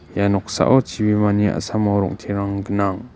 ia noksao chibimani a·samo rongterang gnang.